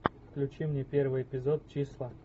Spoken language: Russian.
включи мне первый эпизод числа